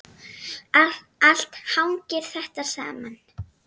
Allt hangir þetta saman.